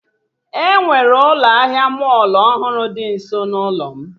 Enwere ụlọ ahịa mọlụ ọhụrụ dị nso ụlọ m